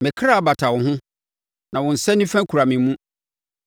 Me kra bata wo ho; na wo nsa nifa kura me mu.